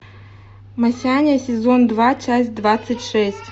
масяня сезон два часть двадцать шесть